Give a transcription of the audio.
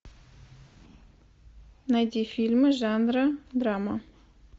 найди фильмы жанра драма